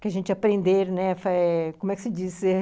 que a gente aprender, como é que se diz?